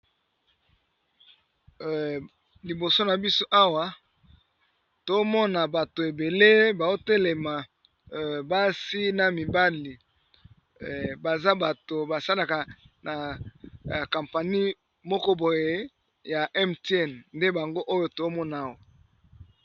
Liboso nabiso Awa tozomona bato ebele bazo telema basi pe mibali baza bato ba salaka na compagnie moko boye ya MTN nde bango tozomona awa.